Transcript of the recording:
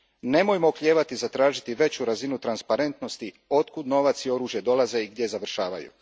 Nemojmo oklijevati zatražiti veću razinu transparentnosti o tome otkud novac i oružje dolaze i gdje završavaju.